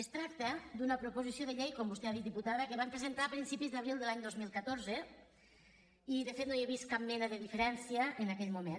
es tracta d’una proposició de llei com vostè ha dit diputada que van presentar a principis d’abril de l’any dos mil catorze i de fet no hi he vist cap mena de diferència amb la d’aquell moment